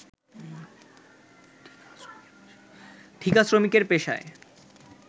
ঠিকা শ্রমিকের পেশায়